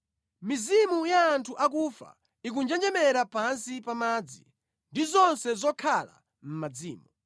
“Mizimu ya anthu akufa ikunjenjemera pansi pa madzi, ndi zonse zokhala mʼmadzimo.